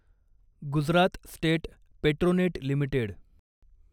Gujarat state Petronet limited